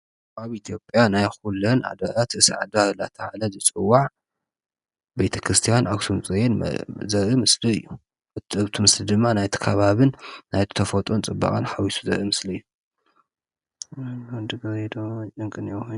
ኣብ ኢትዮጵያ ናይ ኩለን ኣድባራት ርእሰ ኣድባራት እናተባህለ ዝፅዋዕ ቤተ ክርስቲያን ኣኽሱም ፅዮን ዘርኢ ምስሊ እዩ፡፡ እቲ ምስሊ ድማ ናይቲ ከባብን ናይቲ ተፈጥሮን ፅባቐ ሓዊሱ ዘርኢ ምስሊ እዩ፡፡